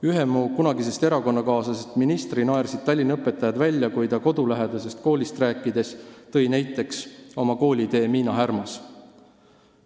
Ühe mu kunagisest erakonnakaaslasest ministri naersid Tallinna õpetajad välja, kui ta kodulähedasest koolist rääkides tõi näiteks oma koolitee Miina Härma Gümnaasiumis.